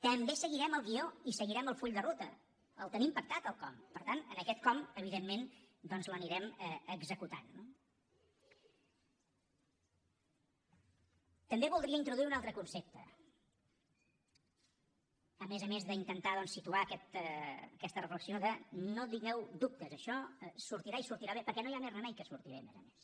també hi seguirem el guió i seguirem el full de ruta el tenim pactat el com per tant en aquest com evidentment doncs l’anirem executant no també voldria introduir un altre concepte a més a més d’intentar situar aquesta reflexió de no tingueu dubtes això sortirà i sortirà bé perquè no hi ha més remei que surti bé a més a més